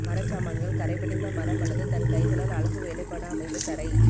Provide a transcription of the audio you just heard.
மரச்சாமான்கள் கறை படிந்த மரம் அல்லது தன் கைகளால் அழகு வேலைப்பாடு அமைந்த தரை